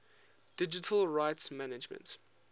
digital rights management